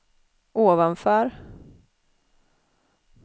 ovanför